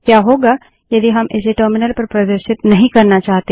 क्या होगा यदि हम इसे टर्मिनल पर प्रदर्शित नहीं करना चाहते